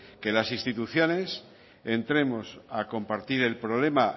que las instituciones entremos a compartir el problema